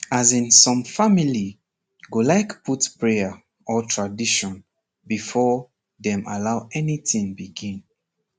as in some family go like put prayer or tradition before dem allow anything begin